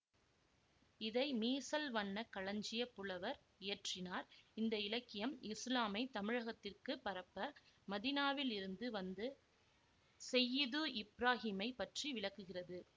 இதை மீசல் வண்ண களஞ்சியப் புலவர் இயற்றினார் இந்த இலக்கியம் இசுலாமை தமிழகத்திற்குப் பரப்ப மதீனாவில் இருந்து வந்த செய்யிது இப்ராகீமைப் பற்றி விளக்குகிறது